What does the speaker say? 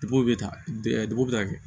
Bo bɛ taa dugu bɛ taa kɛ